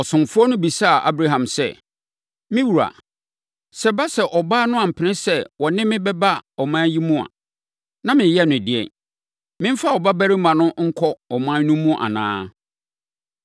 Ɔsomfoɔ no bisaa Abraham sɛ, “Me wura, na sɛ ɛba sɛ ɔbaa no ampene so sɛ ɔne me bɛba ɔman yi mu a, na mereyɛ no ɛdeɛn? Memfa wo babarima no nkɔ wo ɔman no mu anaa?”